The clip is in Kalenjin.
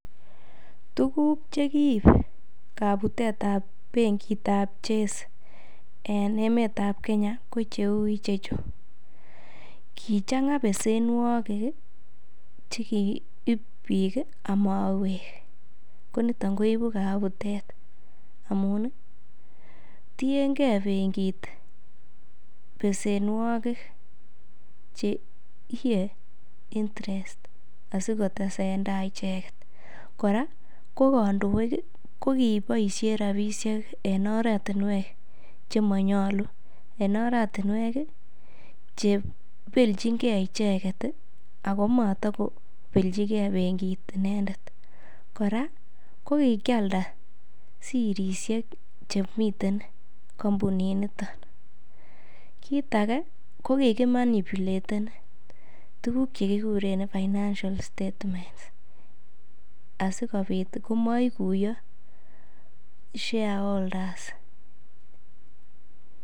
Tuguk che kiib kabutet ab bengit ab Chase en emet ab Kenya, ko cheu ichechu: kichang'a besenwogik ch ekiib bik amawek ko chechuton koibu kabutet amun tienge bengit besenwogik che iiye interest asikotesentai icheget. Kora ko kandoik ko kiboisien rabishek en oratinwek che manyolu, en oratinwek che ibelchinge icheget ago matoko belchige bengit inendet. Kora kokikialda sirisiek chemiten kompuninito, kit age ko kigimanipulaten tuguk che kiguren financial statements asikobit komaiguyo shareholders